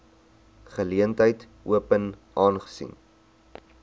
geleentheid open aangesien